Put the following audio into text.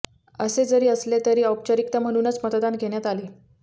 असे जरी असलेतरी औपचारिकता म्हणूनच मतदान घेण्यात आले